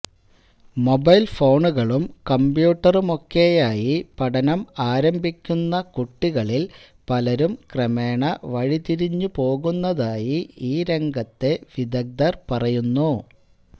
mobile ഫോണുകളും കമ്പ്യൂട്ടറുമൊക്കെയായി പഠനം ആരംഭിക്കുന്ന കുട്ടികളില് പലരും ക്രമേണ വഴിതിരിഞ്ഞുപോകുന്നതായി ഈ രംഗത്തെ വിദഗ്ദര് പറയുന്നു